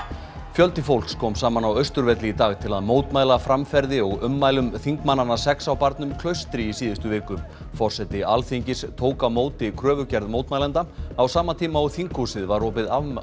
fjöldi fólks kom saman á Austurvelli í dag til að mótmæla framferði og ummælum þingmannanna sex á barnum Klaustri í síðustu viku forseti Alþingis tók á móti kröfugerð mótmælenda á sama tíma og þinghúsið var opið